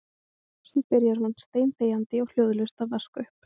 Svo byrjaði hún steinþegjandi og hljóðalaust að vaska upp.